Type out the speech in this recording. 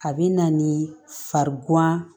A bɛ na ni farigan ye